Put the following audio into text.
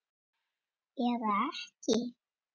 Eða ekki.